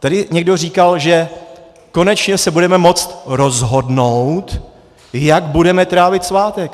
Tady někdo říkal, že konečně se budeme moci rozhodnout, jak budeme trávit svátek.